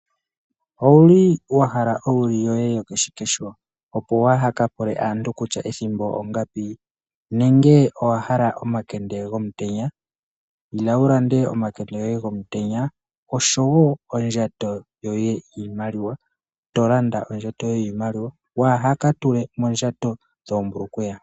Owuli wahala owili yoye yoko shikesho opo waahaka pule kutya ethimbo ongapi nenge owahala omakende gomutenya? Ila wulande omakende gomutenya osho woo ondjato yoye yiimaliwa, tolanda ondjato yiimaliwa waaha ka tule moondjato dhoo mbulukweya.